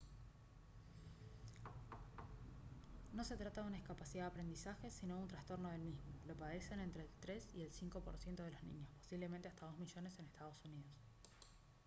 no se trata de una discapacidad de aprendizaje sino de un trastorno del mismo; «lo padecen entre el 3 y el 5 por ciento de los niños posiblemente hasta 2 millones en estados unidos»